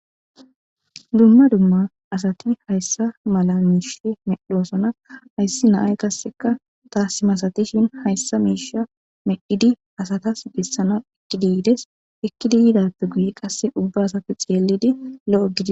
Dumma dumma asati hayssa mala miishe medhosona hayssi naay qasseka taasima asatishin hayssa miisha medhidi asatas bessana ekkidi yides ekkidi yidappe guye qasse ubba asati xeellidi lo'o gidi.